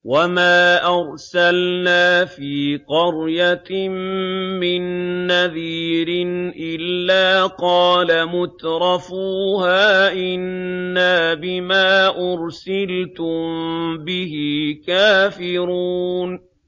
وَمَا أَرْسَلْنَا فِي قَرْيَةٍ مِّن نَّذِيرٍ إِلَّا قَالَ مُتْرَفُوهَا إِنَّا بِمَا أُرْسِلْتُم بِهِ كَافِرُونَ